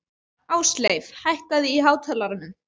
Ásleif, hækkaðu í hátalaranum.